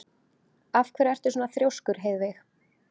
Af hverju ertu svona þrjóskur, Heiðveig?